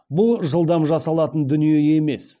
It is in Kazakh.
бұл жылдам жасалатын дүние емес